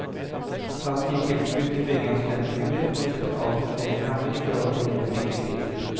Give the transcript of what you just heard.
Staten gir tilskudd til bygging av studenthybler, men setter altfor snevre rammer i forhold til reelle byggepriser.